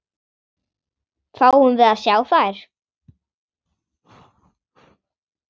Fáum við að sjá þær?